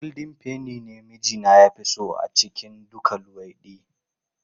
Goldin feni ne mijina ya fi so a cikin duka luwaiɗi.